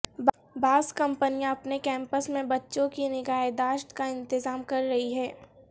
بعض کمپنیاں اپنے کیمپس میں بچوں کی نگہ داشت کا انتظام کر رہی ہیں